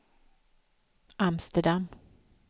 Amsterdam